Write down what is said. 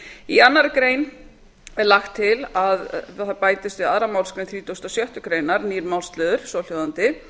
í annarri grein er lagt til að það bætist við aðra málsgrein þrítugustu og sjöttu grein nýr málsliður svohljóðandi